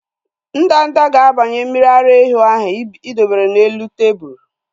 Ndanda ga-abanye mmiri ara ehi ahu ị dowere n'elu tebụlu